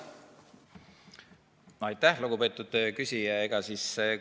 Aitäh, lugupeetud küsija!